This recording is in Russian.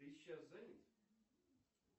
ты сейчас занят